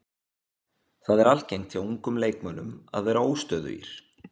Það er algengt hjá ungum leikmönnum að vera óstöðugir.